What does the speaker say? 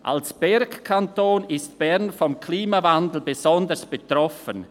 «Als Bergkanton ist Bern vom Klimawandel besonders betroffen.